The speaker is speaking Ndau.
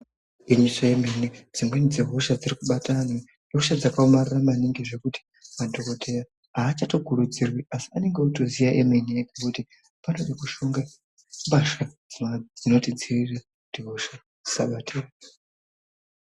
Igwinyiso remene, dzimweni dzehosha dzirikubata anhu ihosha dzakaomarara maningi zvekuti madhokodheya achatokurudzirwi asi anonga otoziya emene ngekuti panotode kushonga mbasha dzinotidziirira kuti hosha dzisatibata.